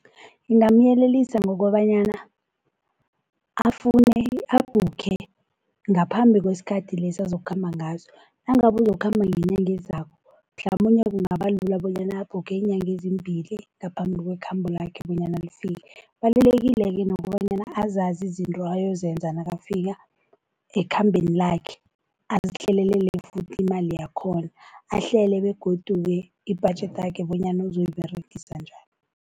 Ngingamyelelisa ngokobanyana afune, abhukhe ngaphambi kwesikhathi lesi azokukhamba ngaso. Nangabe uzokukhamba ngenyanga ezako mhlamunye kungaba lula bonyana abhukhe iinyanga ezimbili ngaphambi kwekhambo lakhe bonyana lifike. Kubalulekile-ke nokobanyana azazi izinto ayozenza nakafika ekhambeni lakhe, azihlelele futhi imali yakhona, ahlele begodu-ke ibhajethi yakhe bonyana uzoyiberegisa njani.